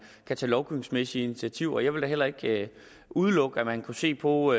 kan tage lovgivningsmæssige initiativer jeg vil da heller ikke udelukke at man kunne se på